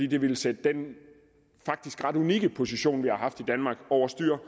det ville sætte den faktisk ret unikke position vi har haft i danmark over styr